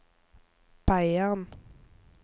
Beiarn